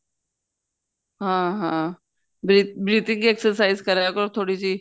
ਹਾਂ ਹਾਂ breathing exercise ਕਰਿਆ ਕਰੋ ਥੋੜੀ ਜੀ